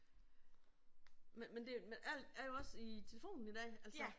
Men det men alt er jo også i telefonen i dag altså